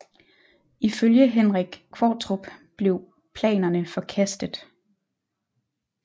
Ifølge Henrik Qvortrup blev planerne forkastet